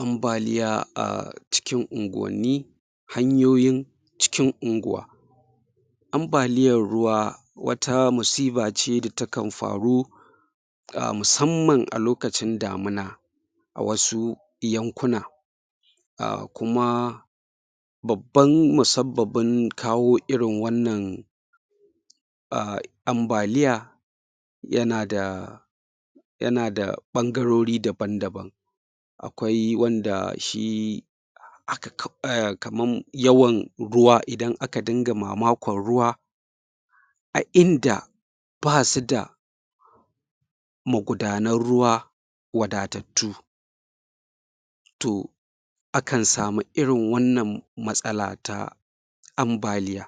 Ambaliya a cikin unguwanni hanyoyin cikin unguwa ambaliyar ruwa wata musiba ce da takan faru a musamman a lokacin damina a wasu yankuna a kuma babban musabbabin kawo irin wannan a ambaliya yana da yana da ɓangarori daban-daban akwai wanda shi haka kawai kaman yawan ruwan idan aka dinga mamakon ruwa a inda ba su da magudanan ruwa wadatattu to akan samu irin wannan matsala ta ambaliya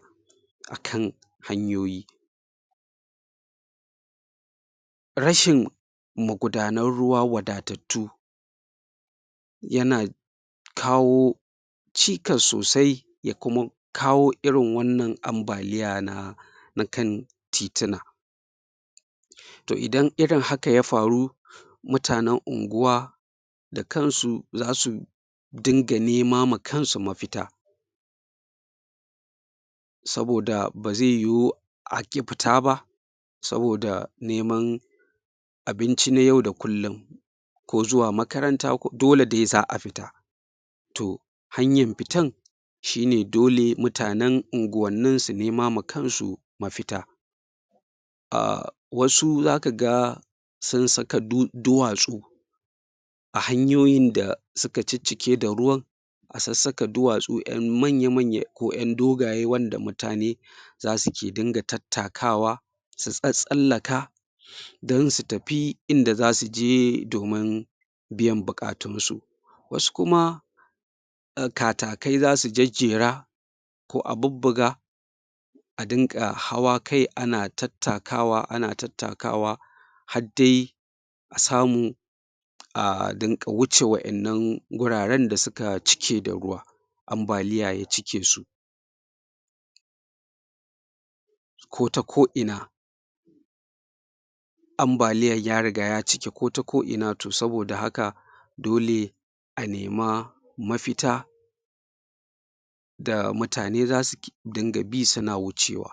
akan hanyoyi rashin magudanan ruwa wadatattu yana kawo cikas sosai ya kuma kawo irin wannan ambaliya na na kan titina to idan irin haka ya faru mutanen unguwa da kansu za su dunga nema ma kansu mafita saboda ba ze yiwu a ƙi fita ba saboda neman abinci na yau da kullum ko zuwa makaranta dole de za a fita to hanyan fitan shi ne dole mutanen unguwannin su nema ma kansu mafita um wasu zaka ga sun saka duwatsu a hanyoyin da suka ciccike da ruwan a sassaka duwatsu an manya-manya ko ƴan dogaye wanda mutane za suke dinga tattakawa su tsattsallaka dan su tafi inda za su je domin biyan buƙatunsu wasu kuma katakai za su jajjera ko a bubbuga a dinga hawa kai ana tattakawa ana tattakawa hadde a samu a dinga wuce waƴannan wuraren da suka cike da ruwa ambaliya ya cike su ko ta ko'ina ambaliyar ya riga ya cike ko ta ko'ina to saboda haka dole a nema mafita da mutane za su dinga bi su na wucewa